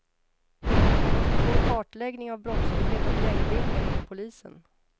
Vi måste få en kartläggning av brottslighet och gängbildningar inom polisen.